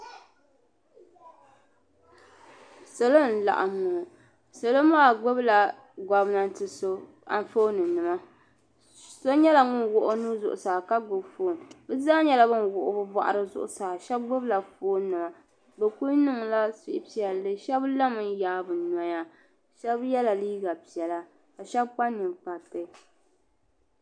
Salo n laɣim ŋɔ salo maa gbibila gomnanti so Anfooni nima so nyɛla ŋun wuɣi o nua zuɣusaa ka gbini fooni bɛ zaa nyɛla bin wuɣi bɛ boɣari zuɣusaa sheba gbibila fooni nima bɛ kuli niŋla suhupiɛlli sheba lami n yaagi bɛ noya sheba yɛla piɛla ka sheba kpa ninkpariti.